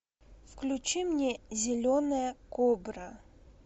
включи мне зеленая кобра